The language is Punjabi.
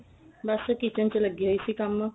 ਬੱਸ kitchen ਚ ਲੱਗੀ ਹੋਈ ਸੀ ਕੰਮ